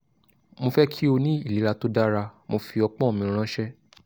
mo fẹ ki o ni ilera to dara mo fi ọpọn mi ranṣẹ